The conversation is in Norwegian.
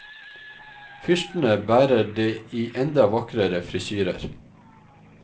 Fyrstene bærer det i enda vakrere frisyrer.